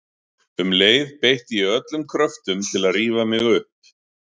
Um leið beitti ég öllum kröftum til að rífa mig upp.